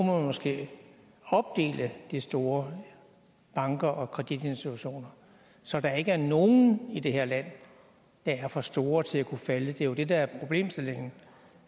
måske opdele de store banker og kreditinstitutioner så der ikke er nogen i det her land der er for store til at kunne falde det er jo det der er problemstillingen